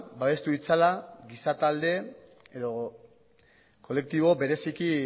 babestu ditzala giza talde edo kolektibo bereziki